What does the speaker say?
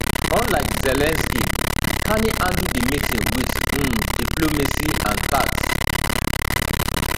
unlike zelensky carney handle di meeting with um diplomacy and tact